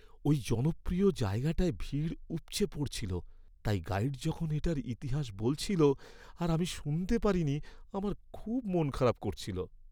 ওই জনপ্রিয় জায়গাটায় ভিড় উপচে পড়ছিল, তাই গাইড যখন এটার ইতিহাস বলছিল আর আমি শুনতে পারিনি, আমার খুব মনখারাপ করছিল।